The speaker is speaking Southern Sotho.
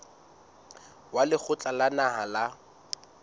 wa lekgotla la naha la